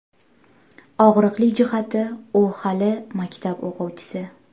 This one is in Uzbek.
Og‘riqli jihati, u hali maktab o‘quvchisi.